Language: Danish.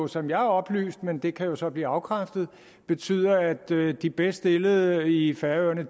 som jeg er oplyst men det kan jo så blive afkræftet betyder at de bedst stillede i færøerne